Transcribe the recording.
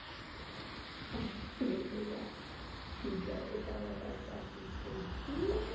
mavele ya thuga eka vavasati ntsena